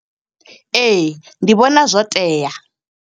Ee, ndi vhona zwo tea.